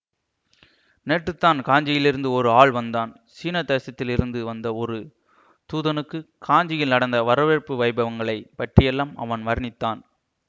நேற்றுத்தான் காஞ்சியிலிருந்து ஒரு ஆள் வந்தான் சீன தேசத்திலிருந்து வந்த ஒரு தூதனுக்குக் காஞ்சியில் நடந்த வரவேற்பு வைபவங்களைப் பற்றியெல்லாம் அவன் வர்ணித்தான்